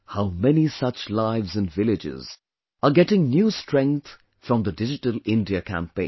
How many such lives in villages are getting new strength from the Digital India campaign